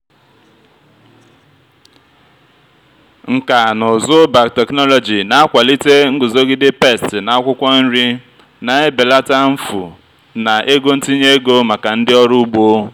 nkà na ụzụ biotechnology na-akwalite nguzogide pesti na akwụkwọ nri na-ebelata mfu na ego ntinye ego maka ndị ọrụ ugbo.